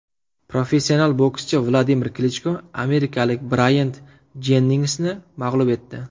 Professional bokschi Vladimir Klichko amerikalik Brayant Jenningsni mag‘lub etdi.